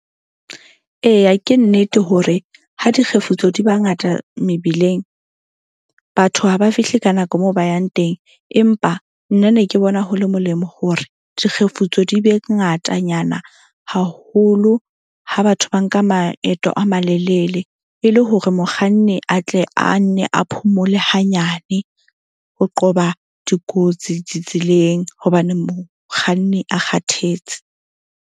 Eya, ke nnete hore ha dikgefutso di ba ngata mebileng, batho ha ba fihle ka nako moo ba yang teng. Empa nna ne ke bona ho le molemo hore dikgefutso di be ngatanyana haholo, ha batho ba nka maeto a malelele e le hore mokganni a tle a nne a phomole hanyane. Ho qoba dikotsi ditseleng hobane mokganni a kgathetse.